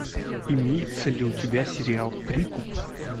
имеется ли у тебя сериал прикуп